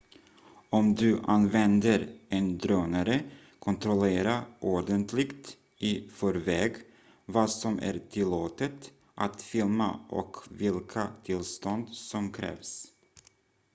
om du använder en drönare kontrollera ordentligt i förväg vad som är tillåtet att filma och vilka tillstånd som krävs